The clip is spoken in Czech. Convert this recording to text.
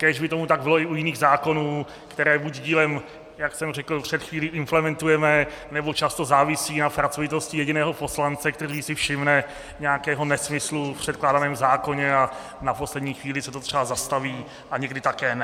Kéž by tomu tak bylo i u jiných zákonů, které buď dílem, jak jsem řekl před chvílí, implementujeme, nebo často závisí na pracovitosti jediného poslance, který si všimne nějakého nesmyslu v předkládaném zákoně a na poslední chvíli se to třeba zastaví a někdy také ne.